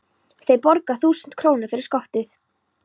Þeir borga þúsund krónur fyrir skottið.